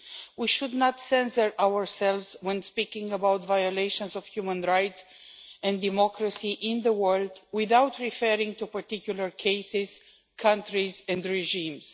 We should not censor ourselves when speaking about violations of human rights and democracy in the world without referring to particular cases, countries and regimes.